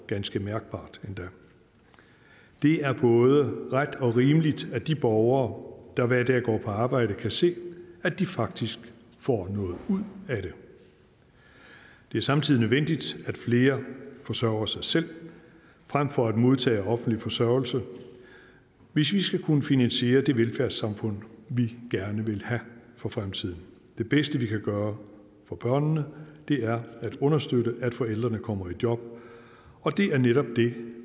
ganske mærkbart det er både ret og rimeligt at de borgere der hver dag går på arbejde kan se at de faktisk får noget ud af det det er samtidig nødvendigt at flere forsørger sig selv frem for at modtage offentlig forsørgelse hvis vi skal kunne finansiere det velfærdssamfund vi gerne vil have for fremtiden det bedste vi kan gøre for børnene er at understøtte at forældrene kommer i job og det er netop det